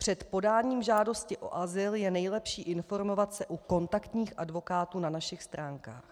Před podáním žádosti o azyl je nejlepší informovat se u kontaktních advokátů na našich stránkách.